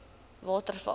waterval